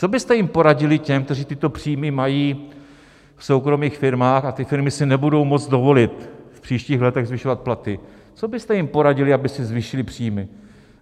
Co byste jim poradili, těm, kteří tyto příjmy mají v soukromých firmách, a ty firmy si nebudou moci dovolit v příštích letech zvyšovat platy, co byste jim poradili, aby si zvýšili příjmy?